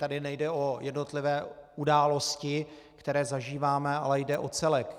Tady nejde o jednotlivé události, které zažíváme, ale jde o celek.